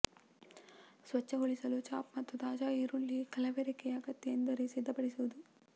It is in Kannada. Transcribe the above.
ಸ್ವಚ್ಛಗೊಳಿಸಲು ಚಾಪ್ ಮತ್ತು ತಾಜಾ ಈರುಳ್ಳಿ ಕಲಬೆರಕೆ ಅಗತ್ಯ ಎಂದರೆ ಸಿದ್ಧಪಡಿಸುವುದು